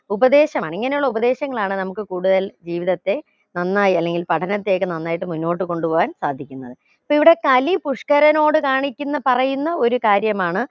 ഉപദേശമാണ് ഇങ്ങനെയുള്ള ഉപദേശങ്ങളാണ് നമുക്ക് കൂടുതൽ ജീവിതത്തെ നന്നായി അല്ലെങ്കിൽ പഠനത്തെയൊക്കെ നന്നായിട്ട് മുന്നോട്ട് കൊണ്ടുപോകാൻ സാധിക്കുന്നത് ഇപ്പൊ ഇവിടെ കലി പുഷ്ക്കരനോട് കാണിക്കുന്ന പറയുന്ന ഒരു കാര്യമാണ്